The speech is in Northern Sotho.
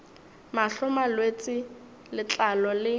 mahlo malwetse a letlalo le